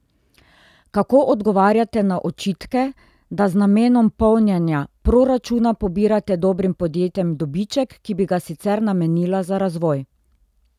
Kako odgovarjate na očitke, da z namenom polnjena proračuna pobirate dobrim podjetjem dobiček, ki bi ga sicer namenila za razvoj?